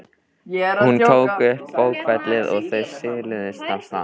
Hún tók upp bókfellið og þau siluðust af stað.